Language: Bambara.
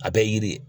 A bɛɛ ye yiri ye